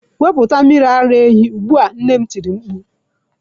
Wepụta mmiri ara ehi ugbu a! nne m tiri mkpu.